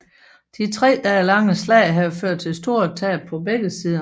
Det tre dage lange slag havde ført til store tab på begge sider